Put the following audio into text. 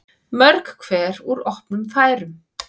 Mörg hver úr opnum færum.